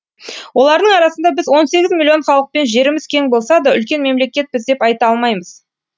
олардың арасында біз он сегіз миллион халықпен жеріміз кең болса да үлкен мемлекетпіз деп айта алмаймыз